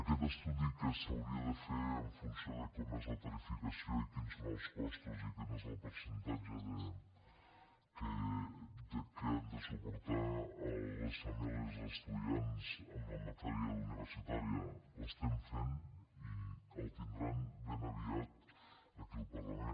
aquest estudi que s’hauria de fer en funció de com és la tarifació i quins són els costos i quin és el percentatge que han de suportar les famílies els estudiants en la matèria universitària l’estem fent i el tindran ben aviat aquí al parlament